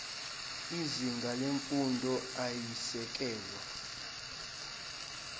izinga lemfundo eyisisekelo